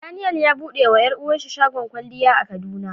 Daniel ya bude ma yaruwan shi shagon kwalya a kaduna.